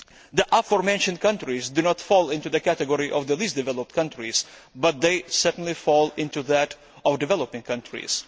The aforementioned countries do not fall into the category of least developed countries but they certainly fall into that of developing countries.